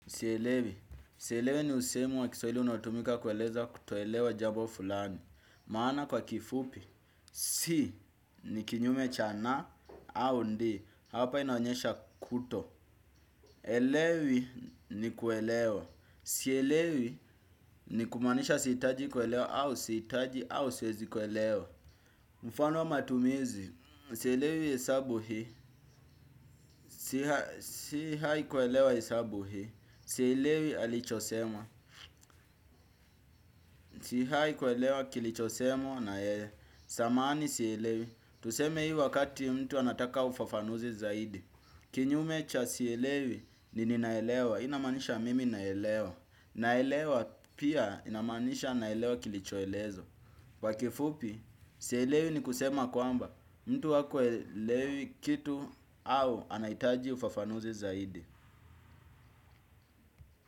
Sielewi, sielewi ni usemi wa kiswahili unatumika kueleza kutoelewa jambo fulani. Maana kwa kifupi, si ni kinyume cha na au ndi, hapa inaonyesha kuto. Elewi ni kuelewa. Sielewi ni kumaanisha sihitaji kuelewa au sihitaji au siwezi kuelewa. Mfano wa matumizi, sielewi hesabu hii, si haikuelewa hesabu hii. Sielewi alichosema. Si hai kuelewa kilichosemwa na yeye. Sahamani sielewi. Tuseme hii wakati mtu anataka ufafanuzi zaidi. Kinyume cha sielewi ni ninaelewa. Inamanisha mimi naelewa. Naelewa pia inamanisha naelewa kilichoelezwa kwa kifupi sielewi ni kusema kwamba mtu hakuelewi kitu au anahitaji ufafanuzi zaidi.